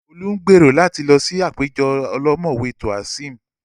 Olú ń gbèrò láti lọ sí àpéjọ ọlọ́mọ̀wé Toaism